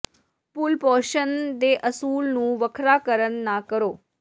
ਭੁੱਲ ਪੋਸ਼ਣ ਦੇ ਅਸੂਲ ਨੂੰ ਵੱਖਰਾ ਕਰਨ ਨਾ ਕਰੋ